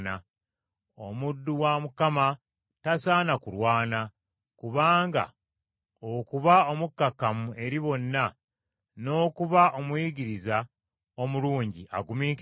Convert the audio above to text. Omuddu wa Mukama tasaana kulwana, wabula okuba omukkakkamu eri bonna, n’okuba omuyigiriza omulungi agumiikiriza,